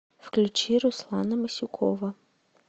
включи руслана масюкова